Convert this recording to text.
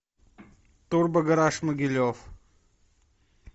турбогараж могилев